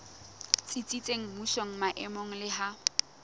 tsitsitseng mmusong maemong le ha